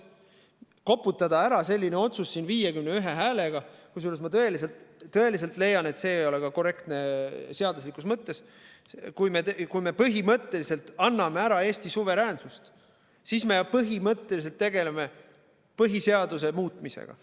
Koputada ära selline otsus siin 51 häälega – kusjuures ma tõesti leian, et see ei ole korrektne ka seaduslikus mõttes –, kui me põhimõtteliselt anname ära Eesti suveräänsust, siis me põhimõtteliselt tegeleme põhiseaduse muutmisega.